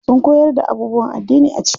Sun koyar da abubuwan addini a ciki.